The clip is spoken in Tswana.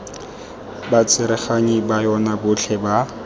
batsereganyi ba yona botlhe ba